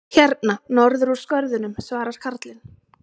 Hérna norður úr skörðunum, svarar karlinn.